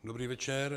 Dobrý večer.